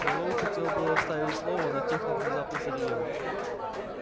мэллоу хотел было вставить слово но техник внезапно заревел